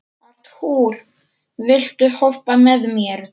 Arthúr, viltu hoppa með mér?